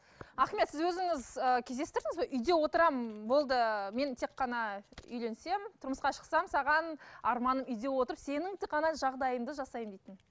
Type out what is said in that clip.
ахмет сіз өзіңіз ыыы кездестірдіңіз бе үйде отырамын болды мен тек қана үйленсем тұрмысқа шықсам саған арманым үйде отырып сенің тек қана жағдайыңды жасаймын дейтін